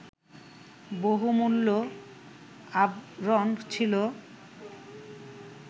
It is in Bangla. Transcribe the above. বহুমূল্য আভরণ ছিল